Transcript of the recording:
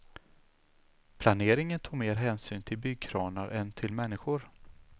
Planeringen tog mer hänsyn till byggkranar än till människor.